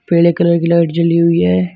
पीले कलर की लाइट जली हुई है।